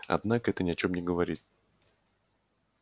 однако это ни о чем не говорит